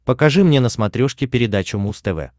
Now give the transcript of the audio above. покажи мне на смотрешке передачу муз тв